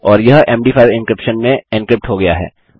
और यह MD five encryption में एन्क्रिप्ट हो गया है